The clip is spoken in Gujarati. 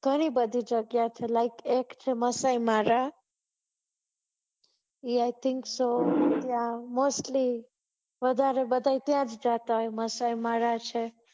ઘણી બધી જગ્યા છે like એક Maasai Mara I think so mostly વધારે લોકો ત્યાં જ જતા હોય માસાય મારા